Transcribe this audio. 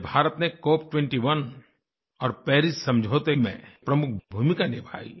जब भारत ने Cop21 और पारिस समझौते में प्रमुख भूमिका निभाई